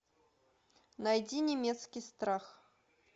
найди немецкий страх